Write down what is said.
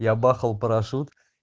я бахал парашют